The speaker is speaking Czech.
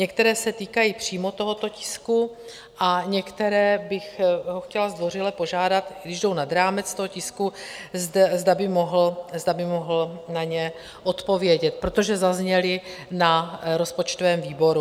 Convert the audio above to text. Některé se týkají přímo tohoto tisku a některé bych ho chtěla zdvořile požádat, když jdou nad rámec toho tisku, zda by mohl na ně odpovědět, protože zazněly na rozpočtovém výboru.